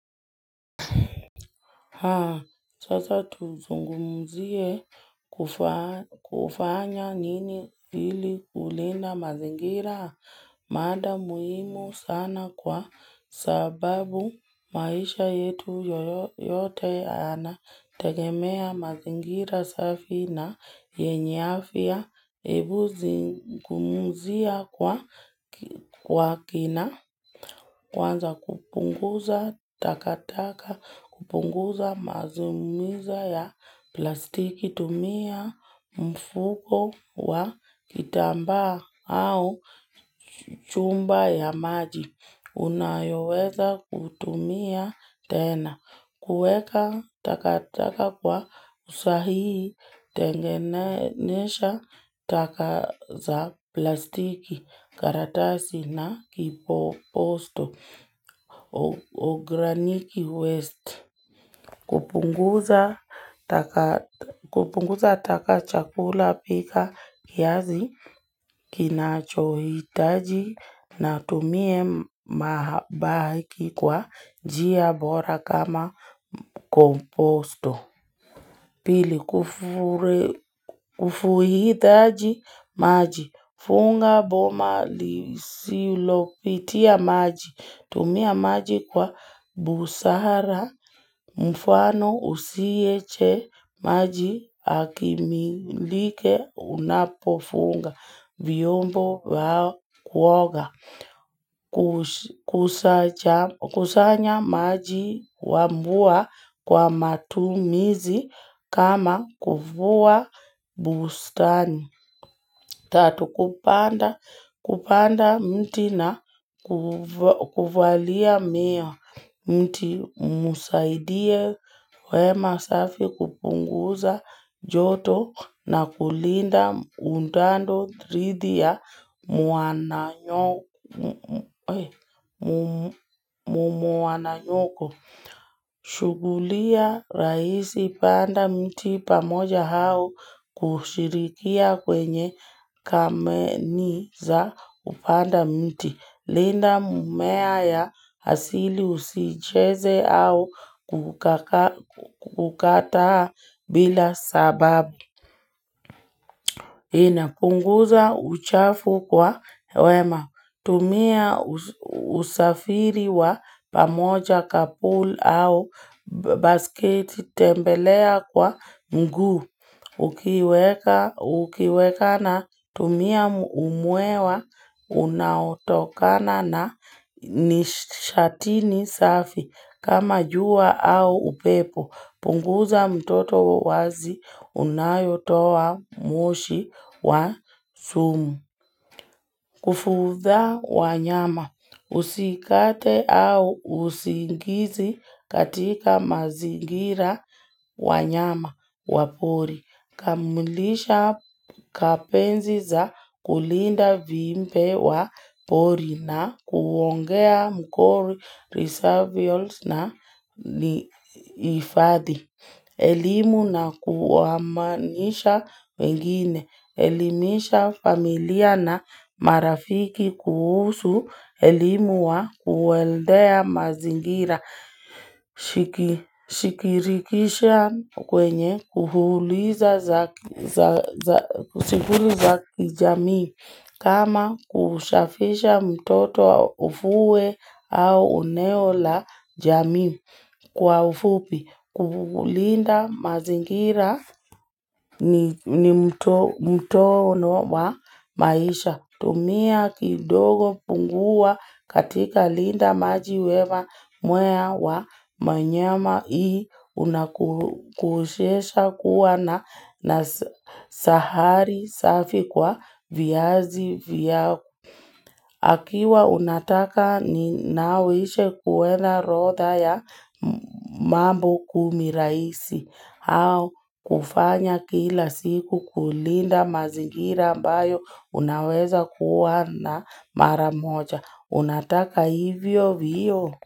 Sasa tuzungumzie kufanya nini ili kulinda mazingira maada muhimu sana kwa sababu maisha yetu yote yana tegemea mazingira safi na yenye afya. Ebu zingumuzia kwa kina kwanza kupunguza takataka kupunguza mazumizo ya plastiki tumia mfuko wa kitamba au chumba ya maji. Unayoweza kutumia tena, kueka taka taka kwa usahii, tengenesha taka za plastiki, karatasi na kipoposto, ograniki waste. Kupunguza taka chakula pika kiazi kinachohitaji na tumie mahabaiki kwa njia bora kama komposto. Pili kufuidhaji maji. Funga boma lisilopitia maji. Tumia maji kwa busara mfano usieche maji akimilike unapofunga vyombo wa kuoga. Kusanya maji wamvua kwa matumizi kama kufuwa bustani Tatu kupanda mti na ku kuvalia miwa mti umusaidie wema safi kupunguza joto na kulinda undando ridhi ya mwananyoko. Mumu wananyoko. Shugulia raisi panda mti pamoja hao kushirikia kwenye kameniza k kupanda mti. Linda mumea ya asili usicheze au kukataa bila sababu. Ina punguza uchafu kwa wema, tumia usafiri wa pamoja kapul au basket tembelea kwa mguu, ukiweka na tumia umwewa unautokana na nishatini safi kama jua au upepo. Punguza mtoto wazi unayotoa mwoshi wa sumu. Kufuudha wa nyama. Usikate au usingizi katika mazingira wa nyama wa pori. Kamulisha kapenzi za kulinda viimpe wa pori na kuongea mkori risavials na ifadhi. Elimu na kuwamanisha wengine. Elimisha familia na marafiki kuhusu. Elimu wa kuweldea mazingira. Shikirikisha kwenye kuhuliza za kijamii. Kama kushafisha mtoto wa ufue au uneo la jamii. Kwa ufupi, kukulinda mazingira ni mtono wa maisha, tumia kidogo pungua katika linda maji wewa mwea wa manyama hii, unakushesha kuwa na sahari safi kwa viazi vyao. Akiwa unataka ni nawishe kuwena rodha ya mambo kumi raisi au kufanya kila siku kulinda mazingira ambayo unaweza kuwa na maramoja. Unataka hivyo vio?